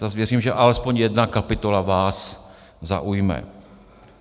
Zase věřím, že alespoň jedna kapitola vás zaujme.